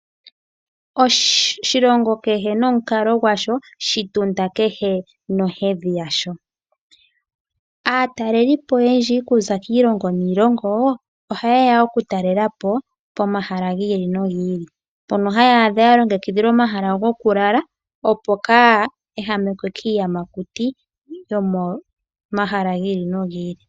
Oshilongo kehe nonkalo ngwasho, shitunda kehe nohedhi yasho, atalelipo oyendji okuza kiilongo niilongo, oha yeya oku talelapo pomahala ngili nongili, pono hayadha yalongekidhilwa omahala ngokulala opo kayehamekwe kiiyamakuti yomo mahala ngili nongili.